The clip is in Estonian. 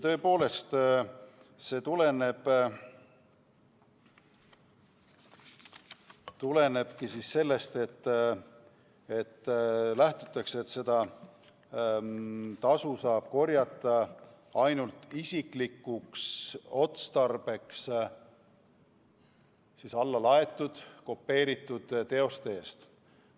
Tõepoolest, see tulenebki sellest, et lähtutakse asjaolust, et tasu saab korjata ainult isiklikuks otstarbeks alla laaditud kopeeritud teoste eest.